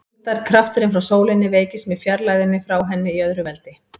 Þyngdarkrafturinn frá sólinni veikist með fjarlægðinni frá henni í öðru veldi.